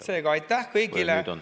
Seega aitäh kõigile!